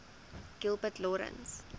gilbert lawrence